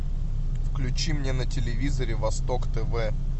включи мне на телевизоре восток тв